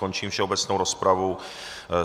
Končím všeobecnou rozpravu.